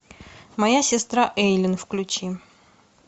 моя сестра эйлин включи